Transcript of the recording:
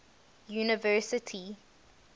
university